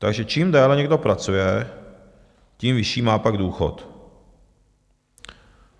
Takže čím déle někdo pracuje, tím vyšší má pak důchod.